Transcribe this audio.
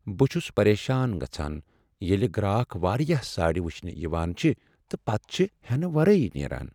بہ چھُس پریشان گژھان ییلِہ گراکھ واریاہ ساڑِ وچھنِہ یوان چھ پتہٕ چھِ ہینہٕ ورٲیی نیران۔